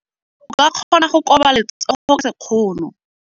O ka kgona go koba letsogo ka sekgono.